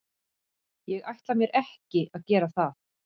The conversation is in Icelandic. Ég ætla mér ekki að gera það.